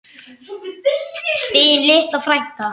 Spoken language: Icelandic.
Þín litla frænka.